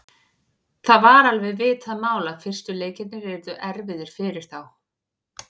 Það var alveg vitað mál að fyrstu leikirnir yrðu erfiðir fyrir þá.